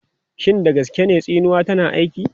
Shin da gaske ne tsinuwa tana aiki?